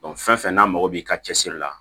fɛn fɛn n'a mago b'i ka cɛsiri la